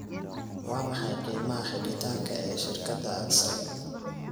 waa maxay qiimaha xidhitaanka ee shirkadda axle